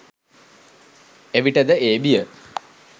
එවිට ද ඒ බිය